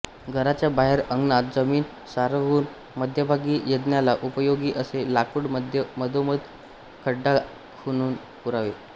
घराच्या बाहेर अंगणात जमीन साररवून मध्यभागी यज्ञाला उपयोगी असे लाकूड मधोमध खड्डा खणून पुरावे